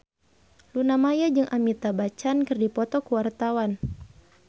Luna Maya jeung Amitabh Bachchan keur dipoto ku wartawan